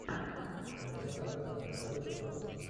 инкассаторы второй сезон